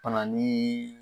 Pana nii